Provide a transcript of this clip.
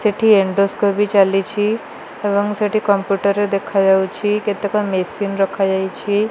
ସେଠି ଏଣ୍ଡୋସ୍କୋପି ଚାଲିଛି ଏବଂ ସେଠି କମ୍ପ୍ୟୁଟର ରେ ଦେଖାଯାଉଛି। କେତେକ ମେସିନ ରଖାଯାଇଛି।